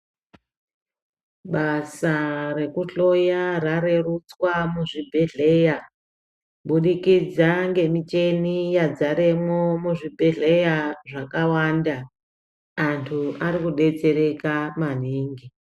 Basa rekuhloya rarerutswa muzvibhehleya kubudikidza ngemicheni yadzaremwo muzvibhehleya zvakawanda anhu arikudetsereka maningi.